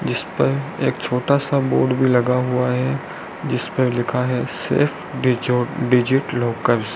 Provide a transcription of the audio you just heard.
जिसपर एक छोटा सा बोर्ड भी लगा हुआ है जिसपे लिखा है सेफ डिजो डिजिट लॉकर्स ।